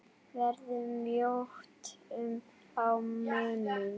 Verður mjótt á munum?